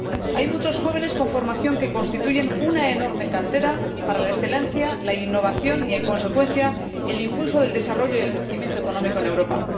Hay muchos jóvenes con formación que constituyen una enorme cantera para la excelencia, la innovación y, en consecuencia, el impulso del desarrollo y el crecimiento económico en Europa.